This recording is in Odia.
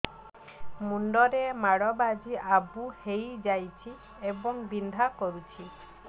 ମୁଣ୍ଡ ରେ ମାଡ ବାଜି ଆବୁ ହଇଯାଇଛି ଏବଂ ବିନ୍ଧା କରୁଛି